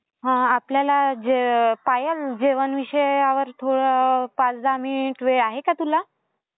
हं, आपल्याला जे पायल, जेवण विषयावर थोडं पाच दहा मिनिट वेळ आहे का तुला?